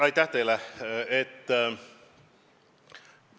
Aitäh teile!